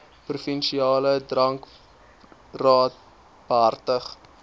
provinsiale drankraad behartig